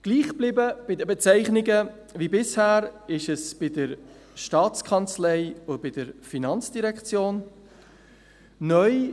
Gleich wie bisher sind die Bezeichnungen der Staatskanzlei (STA) und der Finanzdirektion (FIN).